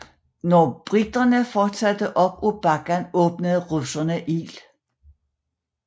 Da briterne fortsatte op ad bakken åbnede russerne ild